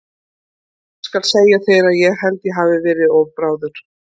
Ég skal segja þér að ég held að ég hafi verið of bráður.